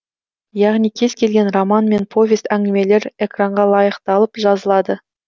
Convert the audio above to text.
яғни кез келген роман мен повест әңгімелер экранға лайықталып жазылады